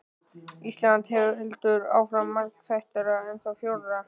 Íslands heldur áfram, margþættara, ennþá frjórra.